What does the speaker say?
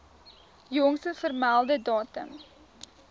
jongste vermelde datum